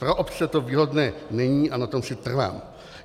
Pro obce to výhodné není a na tom si trvám.